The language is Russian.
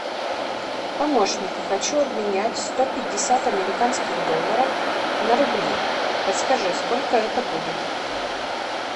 помощник хочу обменять сто пятьдесят американских долларов на рубли подскажи сколько это будет